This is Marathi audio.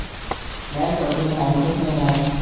नई सर तुम्हीं सांगलीतलेस नई ना